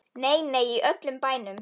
Nei, nei, í öllum bænum.